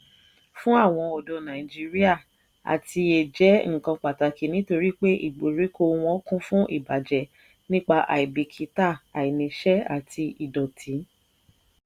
fún àwon ọ̀dọ́ nàìjíríà àtiyè jẹ́ nǹkan pàtàkì nítorí pé ìgbèríko wọn kún fún ìbàjẹ́ nípa àìbìkítà àìníṣẹ́ àti ìdọ̀tí.